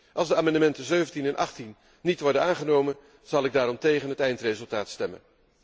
Als de amendementen 17 en 18 niet worden aangenomen zal ik daarom tegen het eindresultaat stemmen.